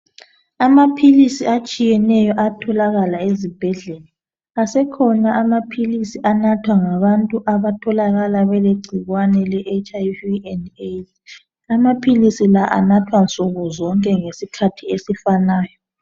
Amaphilisi atshiyeneyo ayatholakala ezibhedlela .Asekhona amaphilisi anathwa ngabantu abatholakala belegcikwane le HIV and AIDS.Amaphilisi la anathwa nsuku zonke ngesikhathi esifanayo .